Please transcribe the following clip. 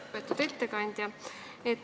Lugupeetud ettekandja!